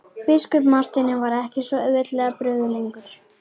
Biskup Marteini varð ekki svo auðveldlega brugðið lengur.